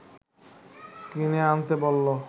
কিনে আনতে বলল